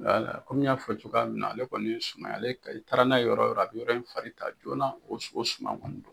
Wala kɔmi n y'a fɔ cogoya min na ale kɔni ye suman ye i taara n'a ye yɔrɔ yɔrɔ a bɛ yɔrɔ in farin ta joona o su o suman kɔni.